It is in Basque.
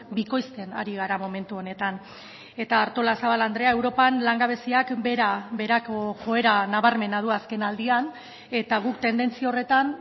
bikoizten ari gara momentu honetan eta artolazabal andrea europan langabeziak behera beherako joera nabarmena du azken aldian eta guk tendentzia horretan